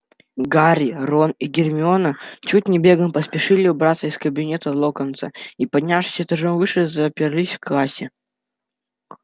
гарри рон и гермиона чуть не бегом поспешили убраться из кабинета локонса и поднявшись этажом выше заперлись в классе